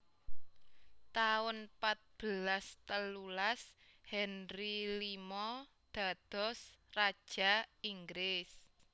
taun patbelas telulas Henry limo dados Raja Inggris